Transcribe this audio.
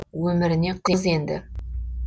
өміріне қыз енді